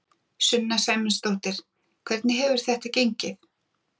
Sunna Sæmundsdóttir: Hvernig hefur þetta gengið?